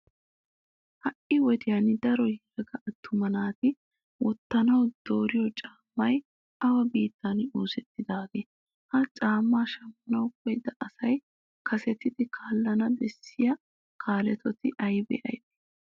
Ha"i wodiyan daro yelaga attuma naati wottanawu dooriyo cammati awa biittan oosettidaageetee? Ha caammaa shammanawu koyyida asi kasetidi kaallana bessiya kaaloti aybee aybee?